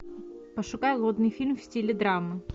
пошукай модный фильм в стиле драмы